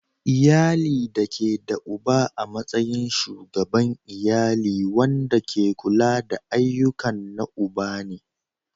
Iyali da ke da uba a matsayin Shugaban iyali wanda ke kula da ayyukan na uba ne.